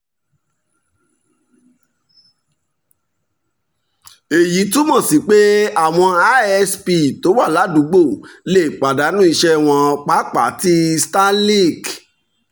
èyí túmọ̀ sí pé àwọn isp tó wà ládùúgbò lè pàdánù iṣẹ́ wọn pàápàá tí starlink